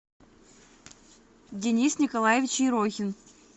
денис николаевич ерохин